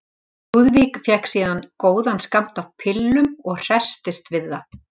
Lúðvík fékk síðan góðan skammt af pillum og hresstist við það.